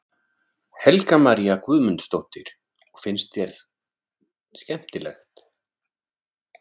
Helga María Guðmundsdóttir: Og finnst þér skemmtilegt?